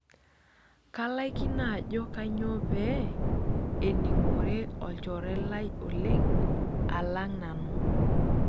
Kalaikino ajo kainyoo pee ening'ore olchore lai oleng' alang' nanu.